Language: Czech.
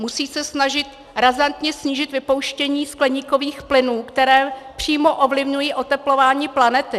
Musí se snažit razantně snížit vypouštění skleníkových plynů, které přímo ovlivňují oteplování planety.